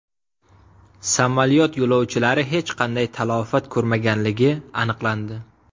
Samolyot yo‘lovchilari hech qanday talafot ko‘rmaganligi aniqlandi.